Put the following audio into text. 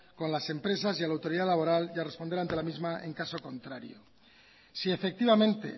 con las empresas y a la autoridad laboral y a responder ante la misma en caso contrario si efectivamente